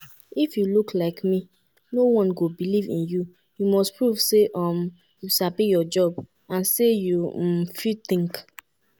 if you look like me no-one go believe in you; you must prove say um you sabi your job and say you um fit think!"